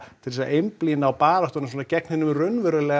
til þess að einblína á baráttuna svona gegn hinum raunverulega